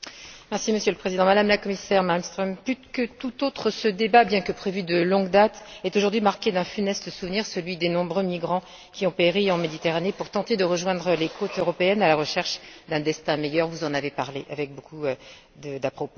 Monsieur le Président, Madame la Commissaire Malmström, plus que tout autre, ce débat, bien que prévu de longue date, est aujourd'hui marqué d'un funeste souvenir, celui des nombreux migrants qui ont péri en Méditerranée pour tenter de rejoindre les côtes européennes à la recherche d'un destin meilleur, vous en avez parlé avec beaucoup d'à propos.